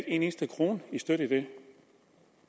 en eneste krone i støtte